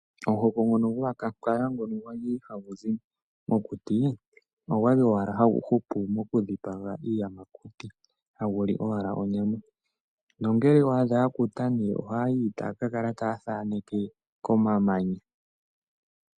Omihoko ngono gwakwankala ngoka gwali haguzi mokuti ogwali owala hagu upu mokudhipaga iiyamakuti ,haguli owala onyama, nonge owa adha gwa kuta ohayi taka kala ta thaneke komamanya.